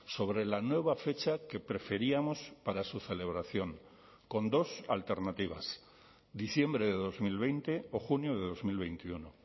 sobre la nueva fecha que preferíamos para su celebración con dos alternativas diciembre de dos mil veinte o junio de dos mil veintiuno